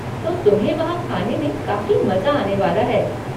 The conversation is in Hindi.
तो तुम्हें वहाँ खाने में काफ़ी मज़ा आने वाला है।